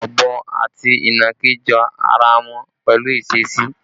Ọ̀bọ àti ìnàkí jọ ara wọn pẹ̀lú ìṣesí